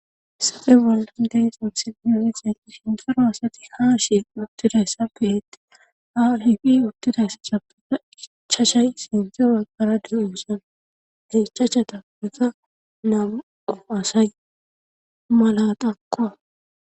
Sape bol deeson sinyooniseti shinfaro asati haa shi uttiday sa piheetti hahiqi uttidayssa cappika ichashay sinte aggara di uusan hechasha tappika namuqo asay mala qanqoa.